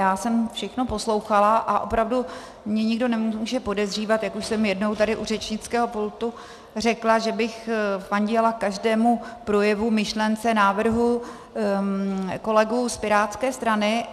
Já jsem všechno poslouchala, a opravdu mě nikdo nemůže podezírat, jak už jsem jednou tady u řečnického pultu řekla, že bych fandila každému projevu, myšlence, návrhu kolegů z pirátské strany.